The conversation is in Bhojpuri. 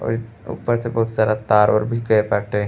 औरी ऊपर से बहुत सारा तार ओर भी गए बाटे।